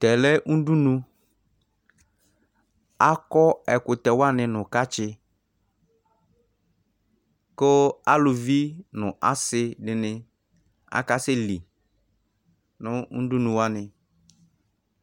Tɛ lɛ udunu Akɔ ɛkʋtɛ wani nʋ kɛtsɩ, kʋ aluvi nʋ asi dini akasɛli nʋ udunu wani